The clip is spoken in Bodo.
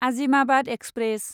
आजिमाबाद एक्सप्रेस